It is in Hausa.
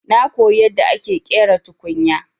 Na koyi yadda ake ƙera tukunya.